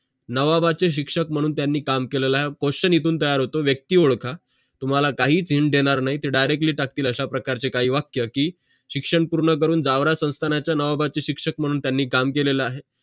नावाबाचे शिक्षक मानून त्यांनी काम केलेले आहे question इथून तयार होतो व्यक्ती ओडखा तुम्हाला काहीच hind देणार नाही ते directly टाकतील अशा प्रकारचे काही वाक्य की शिक्षण पूर्ण करून जावरा संस्थानाचे नावाबाचे शिक्षक मानून त्यांनी काम केलेला आहे